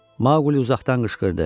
Maquli uzaqdan qışqırdı: